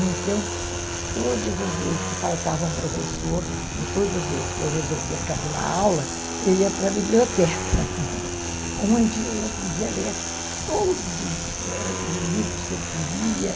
Então, todas as vezes que faltava um professor ou todas as vezes que eu resolvia cabular aula, eu ia para a biblioteca, onde eu podia ler todos os livros que eu queria.